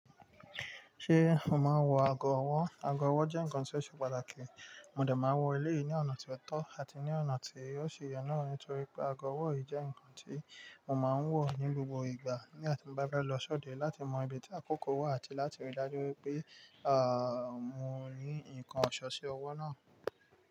Ṣé o máa wọ ago ọwọ́? Ago ọwọ́ jẹ́ nǹkan tí ó ṣe pàtàkì, mo dà máa ń wọ èléyìí ní ọ̀nà tí ó tọ́ àti ní ọ̀nà tí yóò ṣe ìyànà nítorí pé ago ọwọ́ yìí jẹ́ nǹkan tí mo máa ń wọ̀ ní gbogbo ìgbà nígbà tí mo bá bá lọ sóde láti mọ ibi tí àkókò wà àti láti rí i dájú pé, mo ní nǹkan ọ̀ṣọ́ sí ọwọ́ náà.